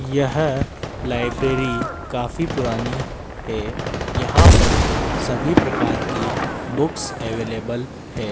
यह लाइब्रेरी काफी पुरानी है यहां पर सभी प्रकार की बुक्स अवेलेबल है।